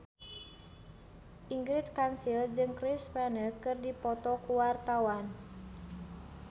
Ingrid Kansil jeung Chris Pane keur dipoto ku wartawan